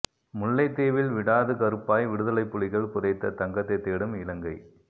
முல்லைத் தீவில் விடாது கருப்பாய் விடுதலைப் புலிகள் புதைத்த தங்கத்தை தேடும் இலங்கை